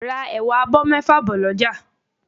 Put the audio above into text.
Ra ẹ̀wà abọ́ mẹ́fà bọ̀ lọ́jà